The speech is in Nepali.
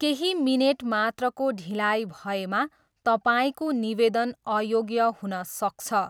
केही मिनेट मात्रको ढिलाइ भएमा तपाईँको निवेदन अयोग्य हुन सक्छ।